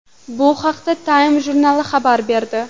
Bu haqda Time jurnali xabar berdi.